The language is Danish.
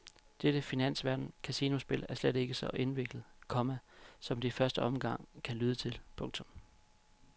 Dette finansverdens casinospil er slet ikke så indviklet, komma som det i første omgang kan lyde til. punktum